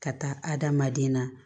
Ka taa adamaden na